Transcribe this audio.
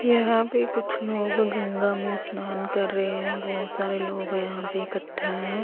यहां पे कुछ लोग गंगा में स्नान कर रहे हैं बहोत सारे लोग यहां पे इकट्ठा है।